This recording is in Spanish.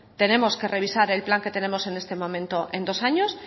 tenemos que revisar el plan que tenemos en este momento en dos años